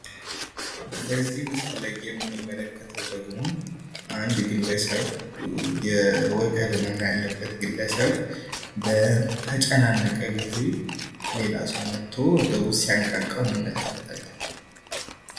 በዚህ ምስል ላይ የምንመለከተው ደግሞ አንድ ግለሰብ የወገብ ህመም ያለበት ግለሰብ በተጨናነቀ ጊዜ ሌላ ሰው መቶ ወገቡን ሲያንቃቃው እንመለከታለን።